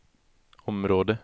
område